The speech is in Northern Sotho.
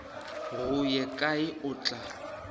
go ye kae o tla